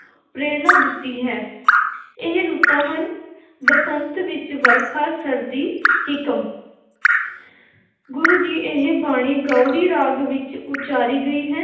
ਪ੍ਰੇਰਨਾ ਦਿੱਤੀ ਹੈ ਇਹ ਰੁੱਤਾਂ ਹਨ ਬਸੰਤ ਵਿੱਚ ਵਰਖਾ ਸਰਦੀ ਹਿਕਮ ਗੁਰੂ ਜੀ ਇਹ ਬਾਣੀ ਗਾਉੜੀ ਰਾਗ ਵਿੱਚ ਉਚਾਰੀ ਗਈ ਹੈ